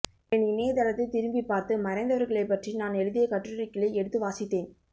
என் இணையதளத்தைத் திரும்பிப்பார்த்து மறைந்தவர்களைப்பற்றி நான் எழுதிய கட்டுரைகளை எடுத்து வாசித்தேன்